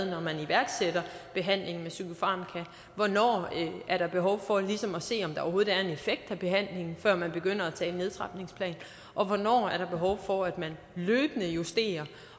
når man iværksætter behandlingen med psykofarmaka og hvornår er der behov for ligesom at se om der overhovedet er en effekt af behandlingen før man begynder at tale nedtrapningsplan og hvornår er der behov for at man løbende justerer